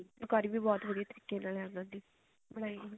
ਫੁਲਕਾਰੀ ਵੀ ਬਹੁਤ ਵਧੀਆ ਤਰੀਕੇ ਨਾਲ ਆ ਬਨਵਾਈ ਹੋਈ